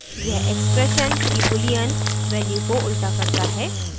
* यह expression की boolean value को उल्टा करता है